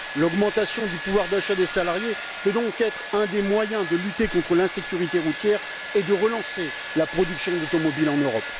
L'augmentation du pouvoir d'achat des salariés peut donc être un des moyens de lutter contre l'insécurité routière et de relancer la production d'automobiles en Europe.